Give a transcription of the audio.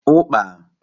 Ukpa